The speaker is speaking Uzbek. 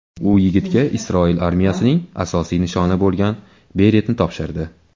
U yigitga Isroil armiyasining asosiy nishoni bo‘lgan beretni topshirdi.